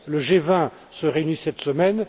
Le G20 se réunit cette semaine.